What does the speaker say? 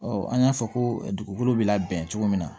an y'a fɔ ko dugukolo bɛ labɛn cogo min na